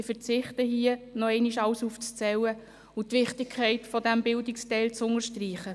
Ich verzichte hier, alles noch einmal aufzuzählen und die Wichtigkeit dieses Bildungsteils wiederholt zu unterstreichen.